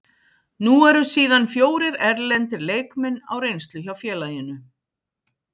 Nú eru síðan fjórir erlendir leikmenn á reynslu hjá félaginu.